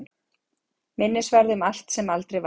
Minnisvarði um allt sem aldrei varð.